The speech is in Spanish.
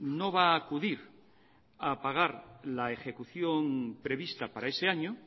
no va a acudir a pagar la ejecución prevista para ese año